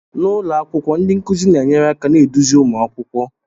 N'ụlọ akwụkwọ ndi nkuzi na enyere aka na-eduzi ụmụ akwụkwọ